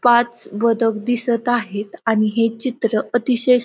पाच बदक दिसत आहेत आणि हे चित्र अतिशय स--